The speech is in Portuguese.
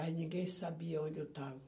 Aí ninguém sabia onde eu estava.